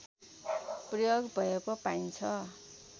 प्रयोग भएको पाइन्छ